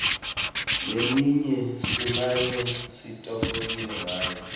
leminye simane sititfokotise ngayo